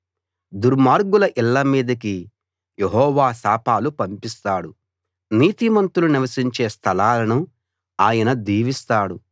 దుర్మార్గుల ఇళ్ళ మీదికి యెహోవా శాపాలు పంపిస్తాడు నీతిమంతులు నివసించే స్థలాలను ఆయన దీవిస్తాడు